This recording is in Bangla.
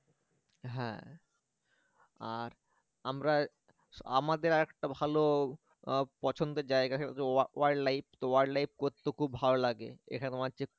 হ্যাঁ আর আমরা আমাদের আরেকটা ভালো পছন্দের জায়গা সেটা হচ্ছে wild life তো wild life করতে তো খুব ভালো লাগে এখানে তোমার যে